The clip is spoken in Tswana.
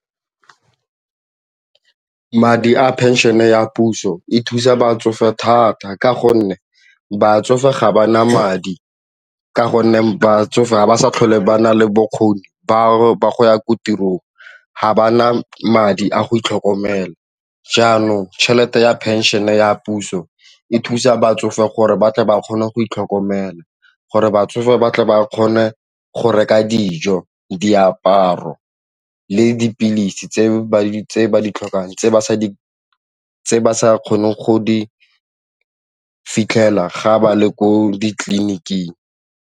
Madi a phenšene ya puso e thusa batsofe thata ka gonne batsofe ga ba na madi ka gonne batsofe ga ba sa tlhole ba na le bokgoni ba go ya ko tirong ga ba na madi a go itlhokomela jaanong tšhelete ya phenšene ya puso e thusa batsofe gore batle ba kgone go itlhokomela, gore batsofe ba tle ba kgone go reka dijo, diaparo le dipilisi tse ba di tlhokang tse ba sa kgoneng go di fitlhela ga ba le ko ditleliniking.